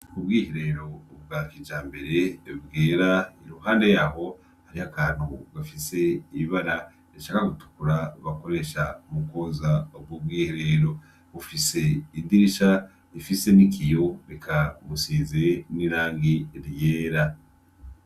Ubwiherero bwa kijambere bwera iruhande yaho hari akantu agomba kugira ibara ritukura bakoresha mukwoza ubwo ubwiherero ufise idirisha rifise nikiyo eka bufise irangi ryera.